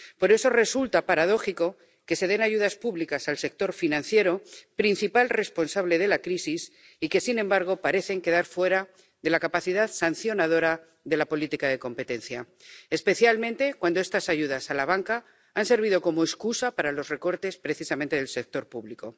Por eso, resulta paradójico que se den ayudas públicas al sector financiero, principal responsable de la crisis y que, sin embargo, parecen quedar fuera de la capacidad sancionadora de la política de competencia, especialmente cuando estas ayudas a la banca han servido como excusa para los recortes precisamente en el sector público.